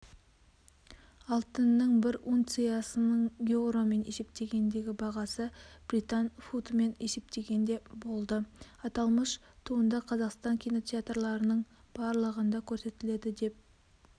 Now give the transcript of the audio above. алтынның бір унциясының еуромен есептегендегі бағасы британ фунтымен есептегенде болды аталмыш туындақазақстан кинотеатрларының барлығында көрсетіледі деп